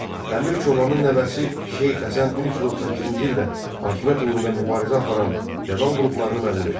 Əmir Çobanın nəvəsi Şeyx Həsən 1338-ci ildə hakimiyyət uğrunda mübarizə aparan feodal qruplarını məğlub etdi.